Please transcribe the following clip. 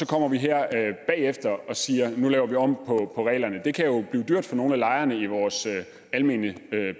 kommer her bagefter og siger at nu laver vi om på reglerne det kan jo blive dyrt for nogle af lejerne i vores almene